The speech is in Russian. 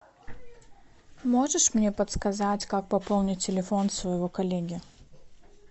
можешь мне подсказать как пополнить телефон своего коллеги